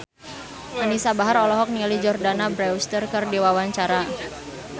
Anisa Bahar olohok ningali Jordana Brewster keur diwawancara